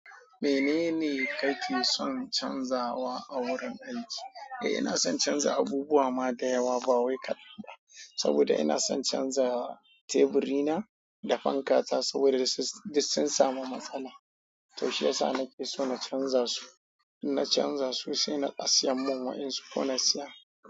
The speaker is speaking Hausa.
Menene kake son canzawa a wurin aiki? Eh, ina son canza abubuwa ma da yawa ba wai kaɗan. Saboda ina son canza teburi na da fanka ta saboda sun samu matsala. To shi yasa nake so na canza su. In na canza su sai na asiya mun wa en su ko na siya.